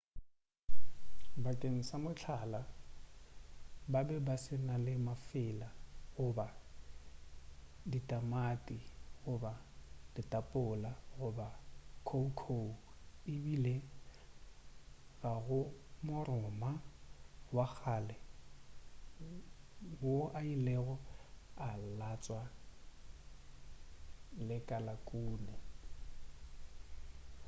bakeng sa mohlala ba be ba se na mafela goba ditamati goba ditapola goba khoukhou ebile ga go moroma wa kgale wo a ilego a latswa lekalakune